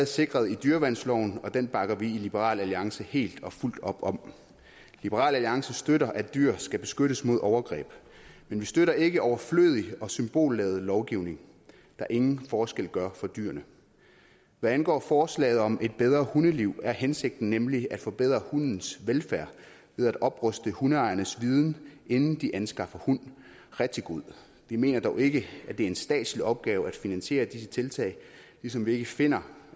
sikret i dyreværnsloven og den bakker vi i liberal alliance helt og fuldt op om liberal alliance støtter at dyr skal beskyttes mod overgreb men vi støtter ikke overflødig og symbolladet lovgivning der ingen forskel gør for dyrene hvad angår forslaget om et bedre hundeliv er hensigten nemlig at forbedre hundens velfærd ved at opruste hundeejernes viden inden de anskaffer en hund rigtig god vi mener dog ikke at det er en statslig opgave at finansiere disse tiltag ligesom vi ikke finder